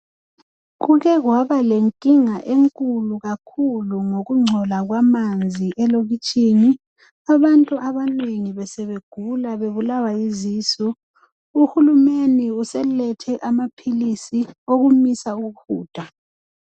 Kukekwaba lenkinga enkulu kakhulu ngokungcola kwamanzi elokitshini. Abantu abanengi besebegula bebulawa yizisu. Uhulumende uselethe amaphilisi okumisa ukuhuda.